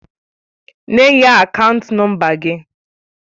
Nye ya akaant nọmba gị!